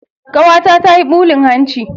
Kawata tayi bulin hanci.